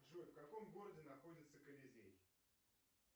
джой в каком городе находится колизей